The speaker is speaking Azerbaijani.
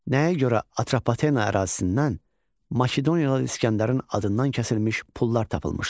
Nəyə görə Atropatena ərazisindən Makedoniyalı İsgəndərin adından kəsilmiş pullar tapılmışdı?